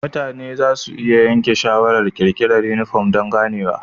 Mutane za su iya yanke shawarar ƙirƙirar yunifom don ganewa.